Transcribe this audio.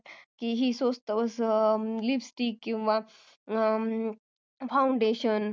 की हि स्वस्त lipsticks किंवा foundation